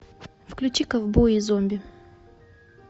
включи ковбои и зомби